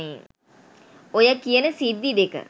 ඔය කියන සිද්දි දෙක